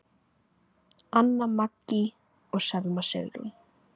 Anna Maggý og Selma Sigrún.